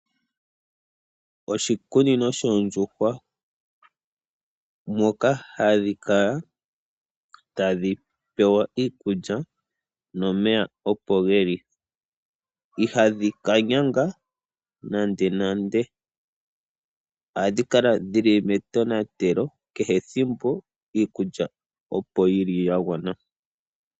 Oshikunino shoondjuhwa moka hadhi kala tadhi pewa iikulya nomeya opo geli. Ihadhi ka nyanga nande nande, ohadhi kala dhili me tonatelo kehe ethimbo. Iikulya ohayi kala yagwana.